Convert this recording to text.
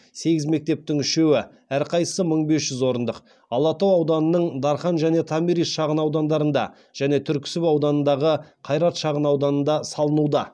сегіз мектептің үшеуі алатау ауданының дархан және томирис шағын аудандарында және түрксіб ауданындағы қайрат шағын ауданында салынуда